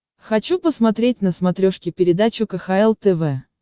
хочу посмотреть на смотрешке передачу кхл тв